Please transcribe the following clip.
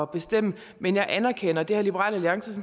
bestemme men jeg anerkender det har liberal alliance